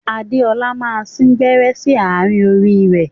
Adéọlá máa sìn gbẹ́rẹ́ sí àárín orí ẹ.